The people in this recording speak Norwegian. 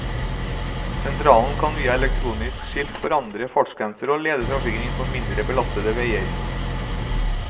Sentralen kan via elektroniske skilt forandre fartsgrenser og lede trafikken inn på mindre belastede veier.